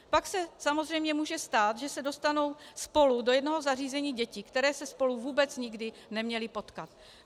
Pak se samozřejmě může stát, že se dostanou spolu do jednoho zařízení děti, které se spolu vůbec nikdy neměly potkat.